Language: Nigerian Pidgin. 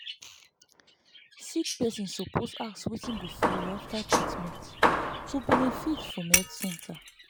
sick person suppose ask wetin go follow after treatment to benefit from health center.